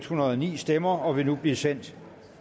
hundrede og ni stemmer og vil nu blive sendt